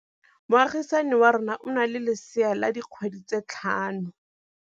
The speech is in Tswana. Moagisane wa rona o na le lesea la dikgwedi tse tlhano.